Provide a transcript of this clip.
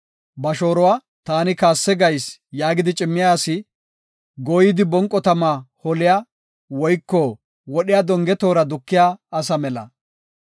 Ba shooruwa, “Taani kaasse gayis” yaagidi cimmiya asi, gooyidi bonqo tama holiya, woyko wodhiya donge toora dukiya asa mela.